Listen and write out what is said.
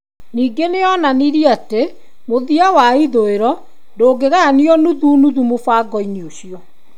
Ningĩ nĩ onanirie atĩ mũthia wa ithũĩro ndũngĩgayanio nuthu nuthu mũbango-inĩ ũcio.